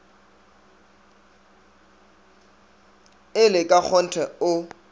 e le ka kgonthe o